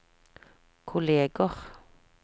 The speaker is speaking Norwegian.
kolleger